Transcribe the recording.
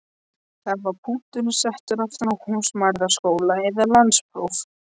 Þar var punkturinn settur aftan við húsmæðraskóla eða landspróf.